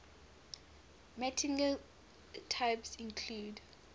martingale types include